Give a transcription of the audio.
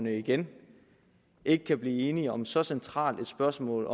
igen ikke kan blive enige om så centralt et spørgsmål